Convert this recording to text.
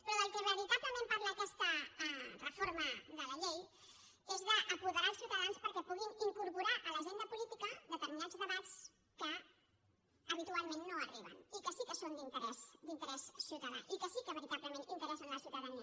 però del que veritablement parla aquesta reforma de la llei és d’apoderar els ciutadans perquè puguin incorporar a l’agenda política determinats debats que habitualment no arriben i que sí que són d’interès ciutadà i que sí que veritablement interessen a la ciutadania